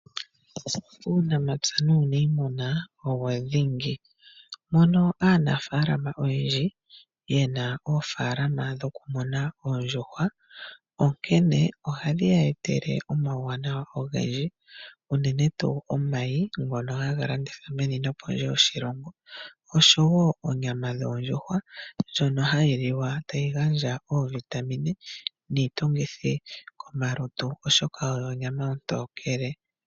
Uunamapya nuuniimuna owo dhingi. Mono aanafaalama oyendji ye na oofaalama dhokumuna oondjuhwa, onkene ohadhi ya etele omauwanawa ogendji unene tuu omayi ngono haga landithwa pondje nomeni lyoshilongo, osho wo onyama yondjuhwa ndjono hayi liwa tayi gandja oovitamine niitungithi kolutu, oshoka oyo onyama ontokele.